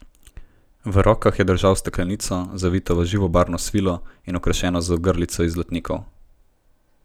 V rokah je držal steklenico, zavito v živobarvno svilo in okrašeno z ogrlico iz zlatnikov.